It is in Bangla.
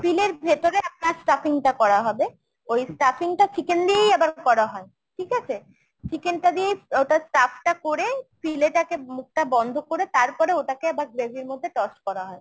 ফিলের ভেতরে আপনার stuffing টা করা হবে। ওই stuffing টা chicken দিয়েই আবার করা হয়। ঠিক আছে ? chicken টা দিয়েই ওটা stuff টা করে ফিলেটাকে মুখটা বন্ধ করে তারপরে ওটাকে আবার gravy র মধ্যে toss করা হয়।